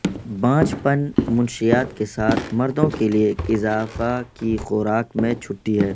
بانجھ پن منشیات کے ساتھ مردوں کے لئے ایک اضافہ کی خوراک میں چھٹی ہے